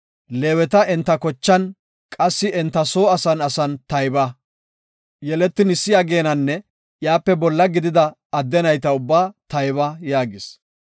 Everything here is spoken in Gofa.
“Leeweta enta kochan, qassi enta soo asan asan tayba. Yeletin issi ageenanne iyape bolla gidida adde nayta ubbaa tayba” yaagis.